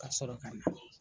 Ka sɔrɔ ka na.